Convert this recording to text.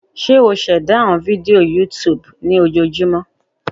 Ṣe o ṣẹda awọn fidio YouTube lojoojumọ?